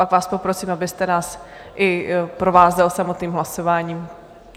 Pak vás poprosím, abyste nás i provázel samotným hlasováním.